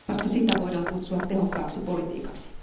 Vasta sitä voidaan kutsua tehokkaaksi politiikaksi.